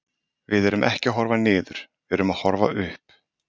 Við erum ekki að horfa niður, við erum að horfa upp.